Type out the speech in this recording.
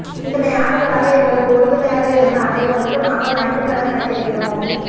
இத்தனை ஆண்டுகளாக எங்களுக்கு உறுதுணையாக இருந்த அனைவருக்கு நாங்கள் நன்றிக்கடன் பட்டிருக்கிறோம்